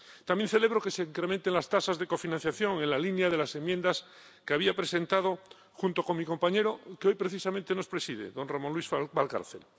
También celebro que se incrementen las tasas de cofinanciación en la línea de las enmiendas que había presentado junto con mi compañero, que hoy precisamente nos preside, don Ramón Luis Valcárcel.